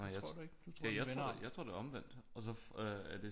Nej det jeg tror jeg tror det er omvendt og så øh er det